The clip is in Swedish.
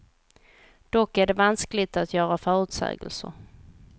Dock är det vanskligt att göra förutsägelser.